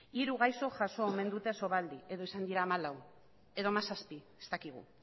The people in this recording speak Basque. hiru gaixok jaso omen dute sovaldi edo izan dira hamalau edo hamazazpi ez dakigu